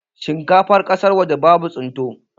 Shinkafan kasan waje babu tsinto